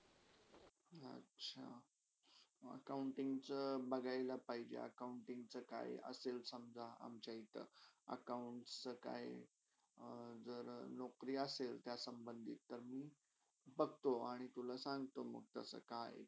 accounting चा बघायला पाहिजे, accounting चा काही असेल समझा अमचा इथं account काय जर नौकरी असेल त्या संभंदित तर मी बघतो आणि तुला सांगतो कसे काय आहे ती.